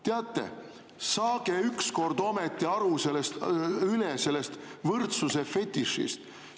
Teate, saage ükskord ometi üle sellest võrdsuse fetišist!